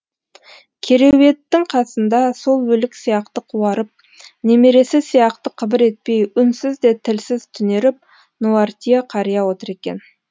кереуеттің қасында сол өлік сияқты қуарып немересі сияқты қыбыр етпей үнсіз де тілсіз түнеріп нуартье қария отыр екен